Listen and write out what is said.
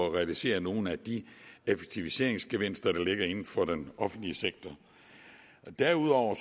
at realisere nogle af de effektiviseringsgevinster der ligger inden for den offentlige sektor derudover